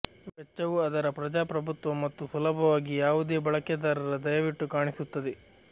ವೆಚ್ಚವು ಅದರ ಪ್ರಜಾಪ್ರಭುತ್ವ ಮತ್ತು ಸುಲಭವಾಗಿ ಯಾವುದೇ ಬಳಕೆದಾರರ ದಯವಿಟ್ಟು ಕಾಣಿಸುತ್ತದೆ